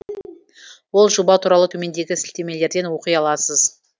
ол жоба туралы төмендегі сілтемелерден оқи аласыз